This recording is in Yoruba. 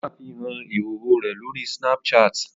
Ó ṣàfihàn ìhòòhò rẹ̀ lórí Snapchat